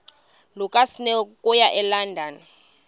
lukasnail okuya elondon